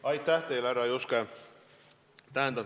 Aitäh teile, härra Juske!